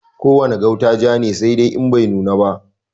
Ko wane gauta ja ne, saidai In bai nuna ba.